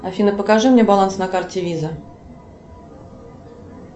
афина покажи мне баланс на карте виза